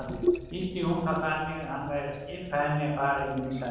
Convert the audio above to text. Skildi hún það þannig að hann væri að skipa henni að fara inn í salinn?